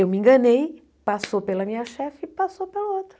Eu me enganei, passou pela minha chefe e passou pela outra.